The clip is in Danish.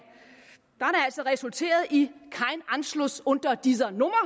resulteret i kein anschluss unter dieser nummer